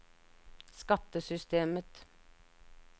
skattesystemet